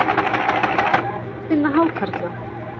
Hvar er hægt að finna hákarla?